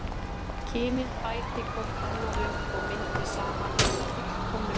Kynin bæti hvort annað upp og myndi saman hina fullkomnu heild.